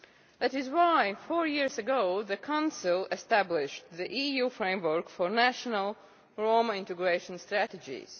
That is why four years ago the Council established the EU Framework for National Roma Integration Strategies.